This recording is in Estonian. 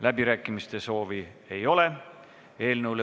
Läbirääkimiste soovi ei ole.